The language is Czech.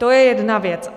To je jedna věc.